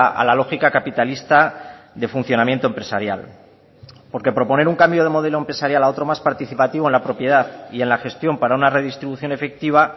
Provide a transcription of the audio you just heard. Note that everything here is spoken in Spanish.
a la lógica capitalista de funcionamiento empresarial porque proponer un cambio de modelo empresarial a otro más participativo en la propiedad y en la gestión para una redistribución efectiva